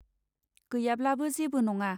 गैयाब्लाबो जेबो नङा.